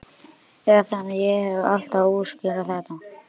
Eða þannig hef ég alltaf útskýrt þetta.